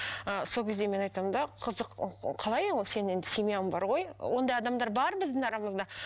ы сол кезде мен айтамын да қызық қалай ол сен енді семьяң бар ғой ондай адамдар бар біздің арамызда